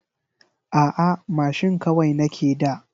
A'a mashin kawai nake da.